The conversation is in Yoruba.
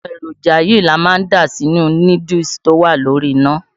Àwọn èròjà yìí, ni a ma dà sínú núdúùsù tó wá lórí iná.